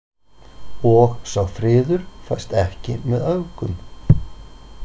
Og sá friður fæst ekki með öfgum.